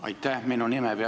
Aitäh!